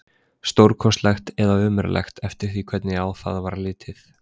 Stórkostlegt eða ömurlegt, eftir því hvernig á það var litið.